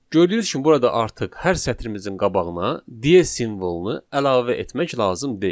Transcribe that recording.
Gördüyünüz kimi burada artıq hər sətrimizin qabağına de simvolunu əlavə etmək lazım deyil.